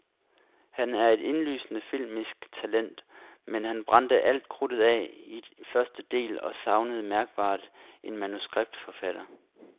Han er et indlysende filmisk talent, men han brændte alt krudtet af i første del og savnede mærkbart en manuskriptforfatter.